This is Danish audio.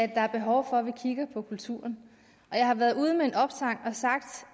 at der er behov for at vi kigger på kulturen og jeg har været ude med en opsang og har sagt